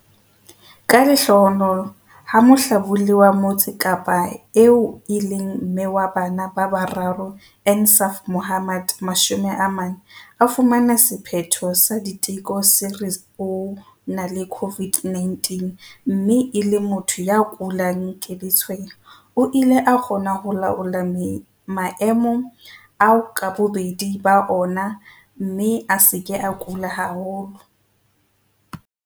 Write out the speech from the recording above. Ka lehlohonolo, ha mohlabolli wa Motse Kapa eo e leng mme wa bana ba bararo Insaaf Mohammed, 40, a fumana sephetho sa diteko se re o na le COVID-19 mme e le motho ya kulang ke letshweya, o ile a kgona ho laola maemo ao ka bobedi ba ona mme a se ke a kula haholo.